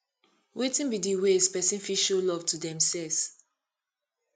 wetin be di ways people fit show love to demselves